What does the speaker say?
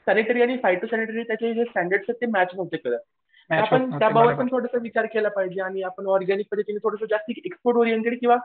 सेरिटरी आणि फायटोसॅरीटरी ए त्याचे जे स्टँडर्ड्स होते ते मॅच नव्हते करत. आपण त्या बाबतीत पण थोडासा विचार केला पाहिजे आणि आपण ऑरगॅनिक जास्त केली पाहिजे किंवा